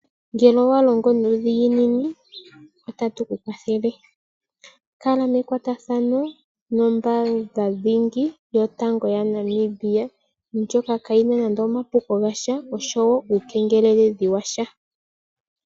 Ngele owalongo nuudhinginini otatukukwathele kala mekwatathano nombaanga dhingi yotango yopashingwana moNamibia ndjoka kaayina nande omapuko gasha nosho woo uukengeleledhi washa.